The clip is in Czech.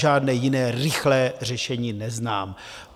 Žádné jiné rychlé řešení neznám.